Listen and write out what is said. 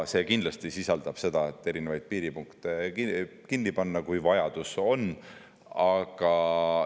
See kindlasti sisaldab ka seda, et erinevaid piiripunkte kinni panna, kui vajadus.